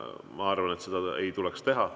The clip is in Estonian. Ma arvan, et seda ei tuleks teha.